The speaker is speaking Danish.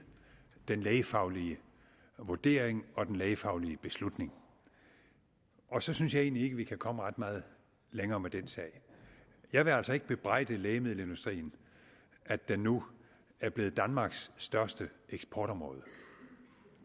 den lægefaglige vurdering og den lægefaglige beslutning og så synes jeg egentlig ikke vi kan komme ret meget længere med den sag jeg vil altså ikke bebrejde lægemiddelindustrien at den nu er blevet danmarks største eksportområde